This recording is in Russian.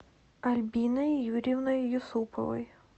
альбиной юрьевной юсуповой